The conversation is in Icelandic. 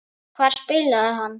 Hvar spilaði hann?